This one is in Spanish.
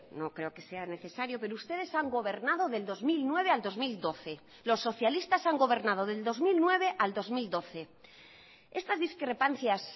no creo que sea necesario pero ustedes han gobernado del dos mil nueve al dos mil doce los socialistas han gobernado del dos mil nueve al dos mil doce estas discrepancias